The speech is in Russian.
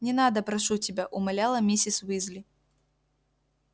не надо прошу тебя умоляла миссис уизли